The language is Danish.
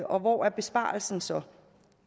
og hvor er besparelsen så